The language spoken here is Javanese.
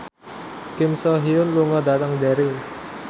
Kim So Hyun lunga dhateng Derry